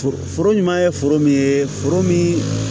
Foro foro ɲuman ye foro min ye foro min